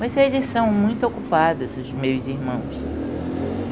Mas eles são muito ocupados, os meus irmãos.